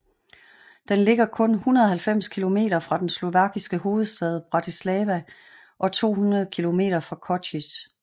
Den ligger kun 190 kilometer fra den slovakiske hovedstad Bratislava og 215 kilometer fra Košice